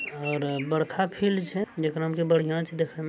और बड़का फील्ड छे जेकरा में से बढ़िया छे देख में --